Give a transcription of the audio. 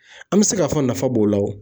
An bɛ se k'a fɔ nafa b'o la o.